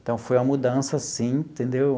Então, foi uma mudança, sim, entendeu?